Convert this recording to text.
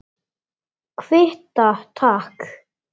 Kvitta, takk!